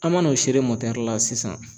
An mana o la sisan.